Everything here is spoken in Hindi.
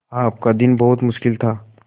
आपका दिन बहुत मुश्किल था